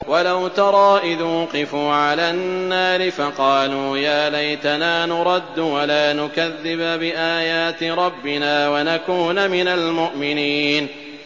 وَلَوْ تَرَىٰ إِذْ وُقِفُوا عَلَى النَّارِ فَقَالُوا يَا لَيْتَنَا نُرَدُّ وَلَا نُكَذِّبَ بِآيَاتِ رَبِّنَا وَنَكُونَ مِنَ الْمُؤْمِنِينَ